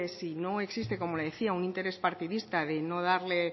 si no existe como le decía un interés partidista de no darle